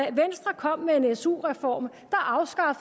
at venstre kom med en su reform